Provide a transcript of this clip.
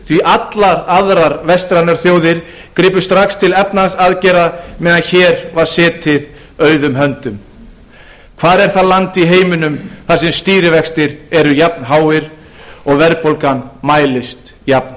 því allar aðrar vestrænar þjóðir gripu strax til efnahagsaðgerða meðan hér var setið auðum höndum hvar er það land í heiminum þar sem stýrivextir eru jafn háir og verðbólgan mælist jafn